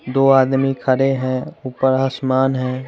दो आदमी खड़े हैं ऊपर आसमान है।